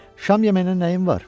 Şam yeməyində nəyin var?